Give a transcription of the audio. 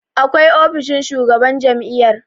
akwai ofishin shugaban jami'yar